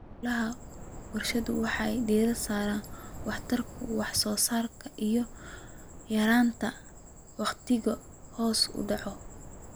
Hawlaha warshaduhu waxay diiradda saaraan waxtarka wax soo saarka iyo yaraynta wakhtiga hoos u dhaca.